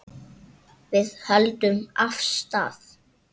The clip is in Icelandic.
Við héldum af stað.